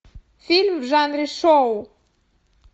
фильм в жанре шоу